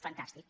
fantàstic